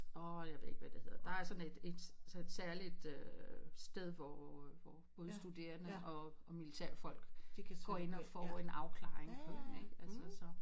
Og jeg ved ikke hvad det hedder der er sådan et et et særligt sted hvor hvor både studerende og militær folk går ind og får en afklaring på det ikke så